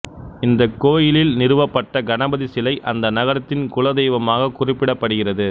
அந்தக் கோயிலில் நிறுவப்பட்ட கணபதி சிலை அந்த நகரத்தின் குலதெய்வமாக குறிப்பிடப்படுகிறது